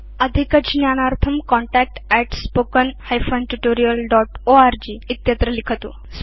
अधिक ज्ञानार्थं contactspoken tutorialorg इत्यत्र लिखतु